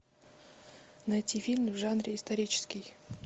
найти фильм в жанре исторический